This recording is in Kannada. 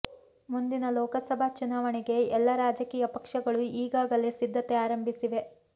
ಮುಂದಿನ ಲೋಕಸಭಾ ಚುನಾವಣೆಗೆ ಎಲ್ಲ ರಾಜಕೀಯ ಪಕ್ಷಗಳು ಈಗಾಗಲೇ ಸಿದ್ಧತೆ ಆರಂಭಿಸಿವೆ